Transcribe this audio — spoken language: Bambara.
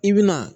I bi na